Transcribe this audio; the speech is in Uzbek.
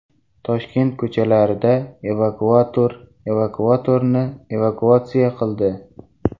Toshkent ko‘chalarida evakuator evakuatorni evakuatsiya qildi.